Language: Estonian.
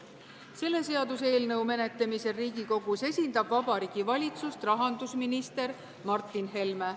Selle seaduseelnõu menetlemisel Riigikogus esindab Vabariigi Valitsust rahandusminister Martin Helme.